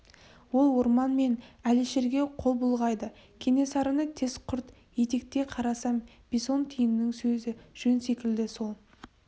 ол орман мен әлішерге қол бұлғайды кенесарыны тез құрт етекке қарасам бесонтиіннің сөзі жөн секілді сол